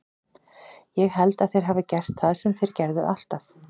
Ég held að þeir hafi gert það sem þeir gera alltaf.